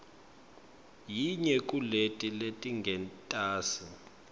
yinye kuleti letingentasi